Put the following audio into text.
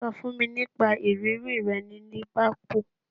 Sọ fún mi nípa ìrírí rẹ ní Liverpool